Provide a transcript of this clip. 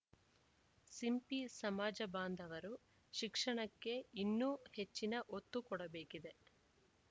ಸಿಂಪಿ ಸಮಾಜ ಬಾಂಧವರು ಶಿಕ್ಷಣಕ್ಕೆ ಇನ್ನೂ ಹೆಚ್ಚಿನ ಒತ್ತು ಕೊಡಬೇಕಿದೆ